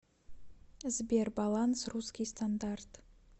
сбер баланс русский стандарт